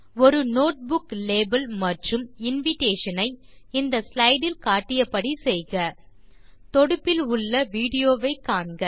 ஒரு notebook label மற்றும் invitation ஐ இந்த ஸ்லைடு இல் காட்டியபடி செய்க தொடுப்பில் உள்ள விடியோவை காண்க